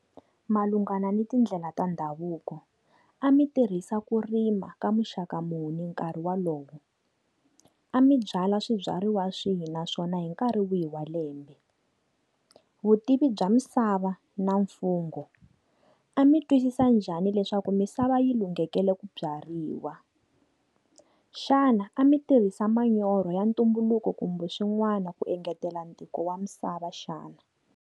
Malungana ni tindlela ta ndhavuko. A mi tirhisa ku rima ka muxaka muni hi nkarhi wolowo? A mi byala swibyariwa swihi naswona hi nkarhi wihi wa lembe? Vutivi bya misava na mfungho, a mi twisisa njhani leswaku misava yi lunghekele ku byariwa? Xana A mi tirhisa manyoro ya ntumbuluko kumbe swin'wana ku engetela ntikelo wa misava, xana?